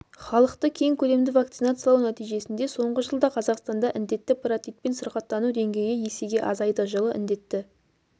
халықты кең көлемді вакцинациялау нәтижесінде соңғы жылда қазақстанда індетті паротитпен сырқаттану деңгейі есеге азайды жылы індетті